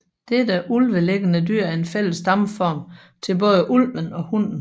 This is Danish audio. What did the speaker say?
Dette ulvelignende dyr er en fælles stamform til både ulven og hunden